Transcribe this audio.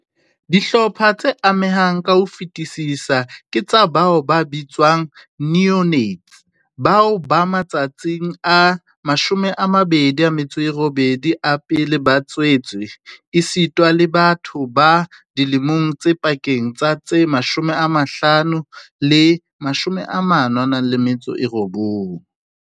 Dihlopha tse amehang ka ho fetisisa ke tsa bao ba bitswang neonates bao ba matsatsing a 28 a pele ba tswetswe, esita le batho ba dilemong tse pakeng tsa tse 15 le 49.